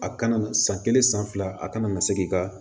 A kana na san kelen san fila a kana na se k'i ka